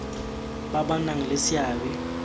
ba ba nang le seabe